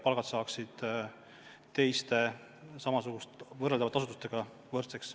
Palgad peavad saama võrdseks teiste samasuguste asutuste omadega.